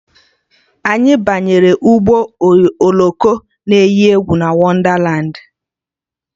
Anyị banyere ụgbọ oloko na eyi egwu na Wondalandi